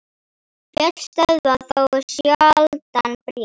Fjöll stöðva þó sjaldan bréf.